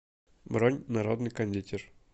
бронь народный кондитер